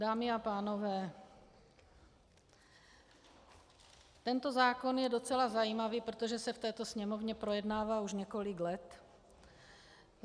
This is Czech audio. Dámy a pánové, tento zákon je docela zajímavý, protože se v této Sněmovně projednává už několik let.